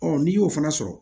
n'i y'o fana sɔrɔ